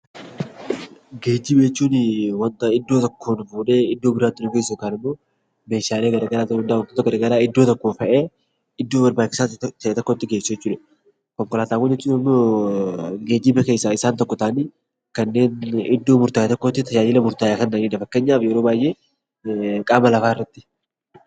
Geejjiba jechuun wanta iddoo tokkoo fuudhee iddoo biraatti nu geessuuf gargaaru meeshaalee garaagaraa ta'uu danda'a wantoota garaagaraa iddoo barbaachisaa ta'e tokkotti geessu jechuudha. Konkolaataawwan jechuun immoo geejjiba keessaa isaan tokko ta'anii kanneen iddoo murtaa'e tokkotti tajaajila murtaa'aa kan kennanidha